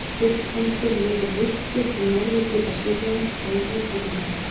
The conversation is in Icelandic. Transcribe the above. gullhamstur lifir villtur í norðurhluta sýrlands og er í útrýmingarhættu